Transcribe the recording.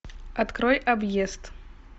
открой объезд